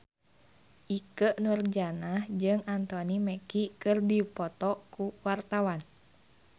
Ikke Nurjanah jeung Anthony Mackie keur dipoto ku wartawan